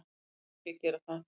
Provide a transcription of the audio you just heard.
Ég er ekki að gera það.